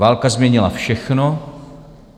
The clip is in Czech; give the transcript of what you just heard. Válka změnila všechno.